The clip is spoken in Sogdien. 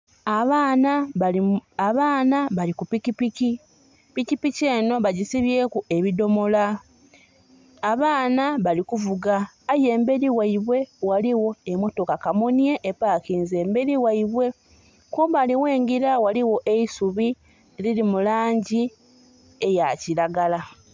Abaana bali ku pikipiki, pikipiki enho bagisibyeku ebidhomolo. Abaana bali kuvuga aye emberi gheibwa eriyo emotoka kamunye epakinze, kumbali okwengila kuliku eisubu erili mulangi eyakilagala.